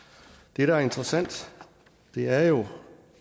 det der er interessant er jo